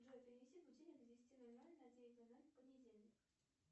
джой перенеси будильник с десяти ноль ноль на девять ноль ноль в понедельник